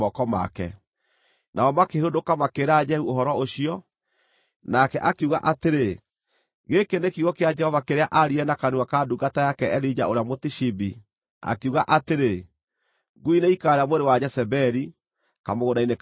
Nao makĩhũndũka, makĩĩra Jehu ũhoro ũcio, nake akiuga atĩrĩ, “Gĩkĩ nĩ kiugo kĩa Jehova kĩrĩa aaririe na kanua ka ndungata yake Elija ũrĩa Mũtishibi, akiuga atĩrĩ: Ngui nĩikaarĩa mwĩrĩ wa Jezebeli kamũgũnda-inĩ ka Jezireeli.